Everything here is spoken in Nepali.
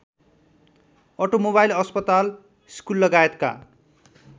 अटोमोबाइल अस्पताल स्कुललगायतका